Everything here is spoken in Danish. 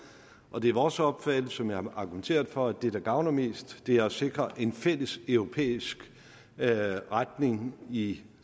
og det er vores opfattelse som jeg har argumenteret for at det der gavner mest er at sikre en fælles europæisk retning i